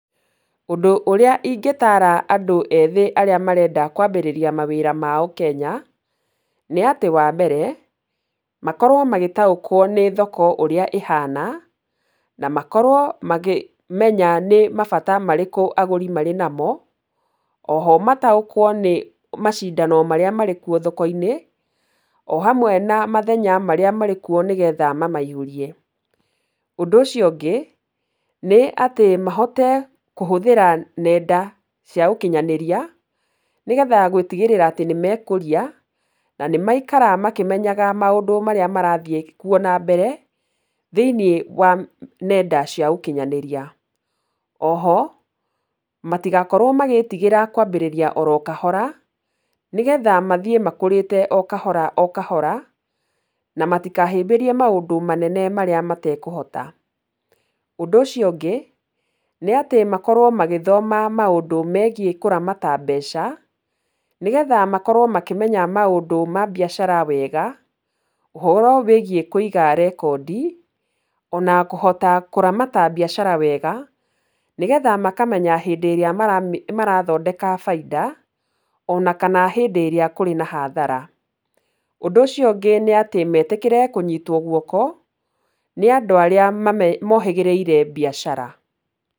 Ũndũ ũrĩa ingĩtaara andũ ethĩ arĩa marenda kwambĩrĩria mawĩra mao Kenya, nĩ atĩ wa mbere, makorwo magĩtaũkwo nĩ thoko ũrĩa ĩhana, na makorwo makĩmenya nĩ mabata marĩkũ agũri marĩ namo, O ho mataũkwo nĩ macindano marĩa marĩ kuo thoko-inĩ, o hamwe na mathenya marĩa marĩ kuo nĩgetha mamaihũrie. Ũndũ ũcio ũngĩ nĩ atĩ mahote kũhũthĩra nenda cia ũkinyanĩria nĩgetha gũtigĩrĩra atĩ nĩ mekũria, na maikara makĩmenyaga maũndũ marĩa marathiĩ kuo na mbere, thĩ-inĩ wa nenda cia ũkinyanĩria. O ho matigakorwo magĩĩtigĩra kwambĩrĩria o ro kahora, nĩgetha mathiĩ makũrĩte o kahora o kahora, na matikahĩmbĩrie maũndũ manene marĩa matakũhota. Ũndũ ũcio ũngĩ nĩ atĩ makorwo magĩthoma maũndũ megiĩ kũramata mbeca, nĩgetha makorwo makĩmenya maũndũ ma biacara wega, ũhoro wĩgiĩ kũiga rekondi, o na kũhota kũramata biacara wega, nĩgetha makamenya hĩndĩ ĩrĩa marathondeka baida, o na kana hĩndĩ ĩrĩa kũrĩ na hathara, Ũndũ ũcio ũngĩ nĩ atĩ metĩkĩre kũnyitwo guoko, nĩ andũ arĩa mohĩgĩrĩire biacara.